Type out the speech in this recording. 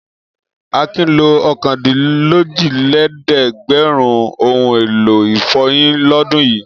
Akin lo ọ̀kandínlójìlélẹ́ẹ̀dẹ́gbẹ̀rún ohun-èlò ìfọyín lọ́dún yìí.